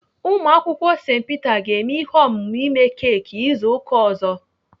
Ụmụakwụkwọ St Peter ga-eme ihe omume ime keki izu ụka ọzọ.